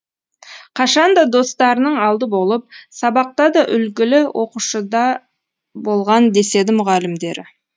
қашанда достарының алды болып сабақтада үлгілі оқушыда болған деседі мұғалімдері